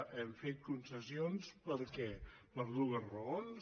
hem fet concessions per què per dues raons